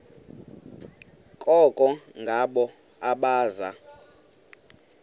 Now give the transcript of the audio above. koko ngabo abaza